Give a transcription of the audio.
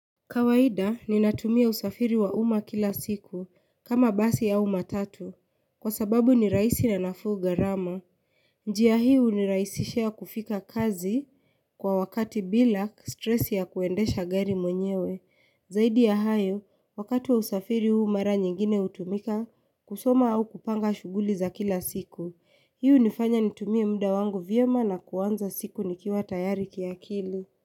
Kawaida ninatumia usafiri wa umma kila siku kama basi ya matatu kwa sababu ni rahisi na nafuu gharama njia hii ni unarahisishia kufika kazi kwa wakati bila stresi ya kuendesha gari mwenyewe zaidi ya hayo wakati wa usafiri huu mara nyingine hutumika kusoma au kupanga shughuli za kila siku hii hunifanya nitumie muda wangu vyema na kuanza siku nikiwa tayari kiakili.